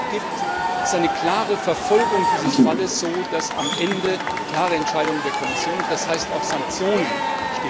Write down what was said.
Was es aber nicht gibt, ist eine klare Verfolgung dieses Falles, so dass am Ende klare Entscheidungen der Kommission und das heißt auch Sanktionen stehen können.